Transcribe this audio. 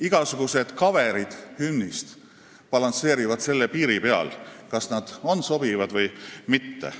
Igasugused kaverid hümnist balansseerivad selle piiri peal, kas nad on sobivad või mitte.